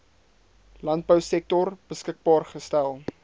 landbousektor beskikbaar gestel